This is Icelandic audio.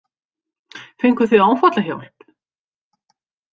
Fenguð þið áfallahjálp?